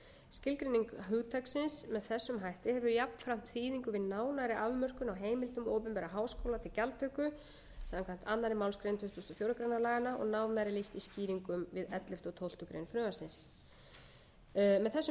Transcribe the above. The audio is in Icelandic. skilgreining hugtaksins með þessum hætti hefur jafnframt þýðingu við nánari afmörkun á heimildum opinberra háskóla til gjaldtöku samkvæmt annarri málsgrein tuttugustu og fjórðu grein laganna og nánar er lýst í skýringum við ellefta og tólftu greinar frumvarpsins með þessum breytingum er